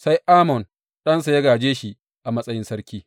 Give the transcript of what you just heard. Sai Amon ɗansa ya gāje shi a matsayin sarki.